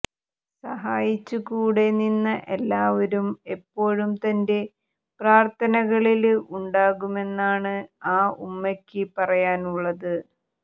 സഹായിച്ച് കൂടെ നിന്ന എല്ലാവരും എപ്പോഴും തന്റെ പ്രാര്ത്ഥനകളില് ഉണ്ടാകുമെന്നാണ് ആ ഉമ്മയ്ക്ക് പറയാനുള്ളത്